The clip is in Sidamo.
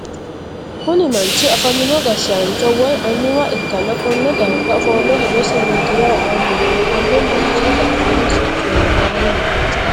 Konni manchi afamino gashaancho woyi anuwa ikanna konne darga ofole hedosi miidayeho aanni no. Konni manchi badheenni siccu leelanni no.